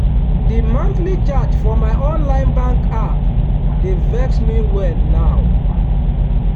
the monthly charge for my online bank app dey vex me well now.